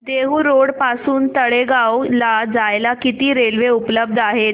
Dehu road पासून तळेगाव ला जायला किती रेल्वे उपलब्ध आहेत